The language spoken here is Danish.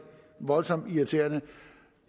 voldsomt irriterende